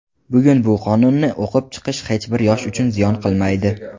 bugun bu qonunni o‘qib chiqish hech bir yosh uchun ziyon qilmaydi.